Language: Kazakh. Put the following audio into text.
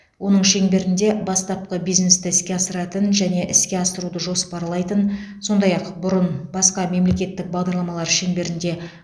оның шеңберінде бастапқы бизнесті іске асыратын және іске асыруды жоспарлайтын сондай ақ бұрын басқа мемлекеттік бағдарламалар шеңберінде